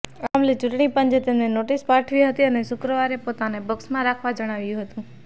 આ મામલે ચૂંટણી પંચે તેમને નોટિસ પાઠવી હતી અને શુક્રવારે પોતાનો પક્ષમાં રાખવા જણાવ્યું હતું